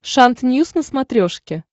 шант ньюс на смотрешке